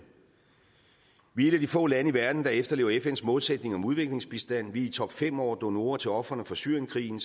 vi er et af de få lande i verden der efterlever fns målsætning om udviklingsbistand vi er i topfem over donorer til ofrene for syrienkrigen